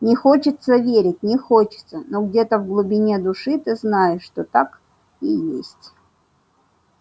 не хочется верить не хочется но где-то в глубине души ты знаешь что так и есть